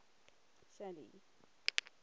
shelly